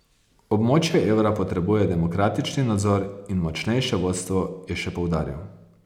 Območje evra potrebuje demokratični nadzor in močnejše vodstvo, je še poudaril.